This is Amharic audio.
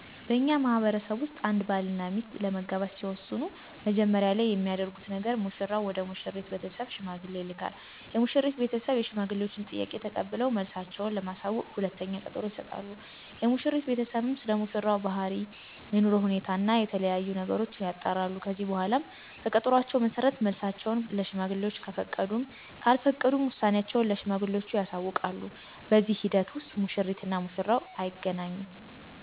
በእኛ ማህበረሰብ ውስጥ አንድ ባል እና ሚስት ለመጋባት ሲወስኑ መጀመሪያ ላይ የሚያደርጉት ነገር ሙሽራው ወደ ሙሽሪት ቤተሰብ ሽማግሌ ይልካል። የሙሽሪት ቤተሰብ የሽማግሌወችን ጥያቄ ተቀብለው መልሳቸው ለማሳወቅ ሁለተኛ ቀጠሮ ይሰጣሉ። የሙሽሪት ቤተሰብም ስለሙሽራው ባህሪ፣ የኑሮ ሁኔታ እና የተለያዬ ነገሮችን ያጣራሉ። ከዚህ በኃላ በቀጠሮአቸው መሠረት መልሳቸውን ለሽማግሌወች ከፈቀዱም ካልፈቀዱም ውሳኔአቸውን ለሽማግሌወቹ ያሳውቃሉ። በዚህ ሂደት ውስጥ ሙሽሪት እና ሙሽራው አይገናኙም።